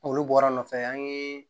Olu bɔra nɔfɛ an ye